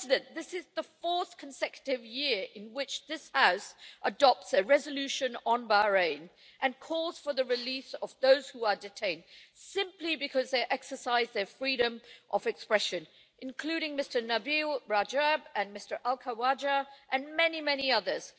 This is the fourth consecutive year in which this House has adopted a resolution on Bahrain calling for the release of those who are detained simply because they exercise their freedom of expression, including Nabeel Rajab and Abdulhadi al Khawaja and many, many others.